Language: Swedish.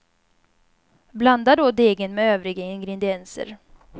Blanda då degen med övriga ingredienser.